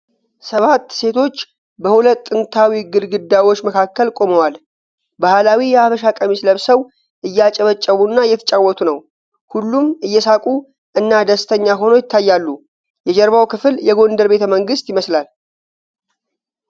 ሰባት ሴቶች በሁለት ጥንታዊ ግድግዳዎች መካከል ቆመዋል። ባህላዊ የሀበሻ ቀሚስ ለብሰው እያጨበጨቡ እና እየተጫወቱ ነው። ሁሉም እየሳቁ እና ደስተኛ ሆነው ይታያሉ። የጀርባው ክፍል የጎንደር ቤተመንግስት ይመስላል።